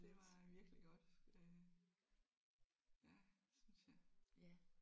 Det var øh virkelig godt øh ja synes jeg